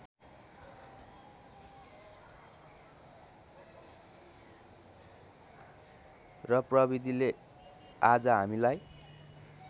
र प्रविधिले आज हामीलाई